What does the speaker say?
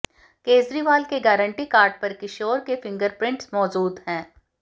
केजरीवाल के guarantee card पर किशोर के फिंगरप्रिंट्स मौजूद हैं